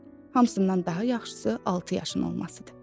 hamısından daha yaxşısı altı yaşın olmasıdır.